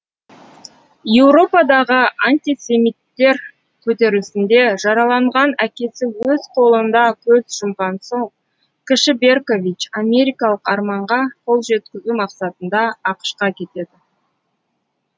еуропадағы антисемиттер көтерілісінде жараланған әкесі өз қолында көз жұмған соң кіші беркович америкалық арманға қол жеткізу мақсатында ақш қа кетеді